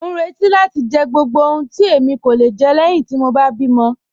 Mọ n rẹti láti jẹ gbogbo ohun tí èmi kò le jẹ lẹ́ẹ̀hin ti mọ bá bí mọ̀.